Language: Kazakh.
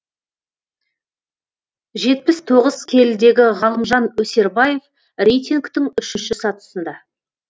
жетпіс тоғыз келідегі ғалымжан өсербаев рейтингтің үшінші сатысында